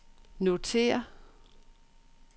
notér